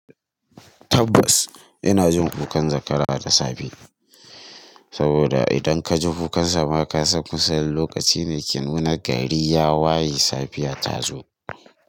Tabbas ina jin kukan zakara da safe, saboda idan ka ji kukan sa ma ka san kusa lokaci ne dake nuna gari ya waye safiya ta zo.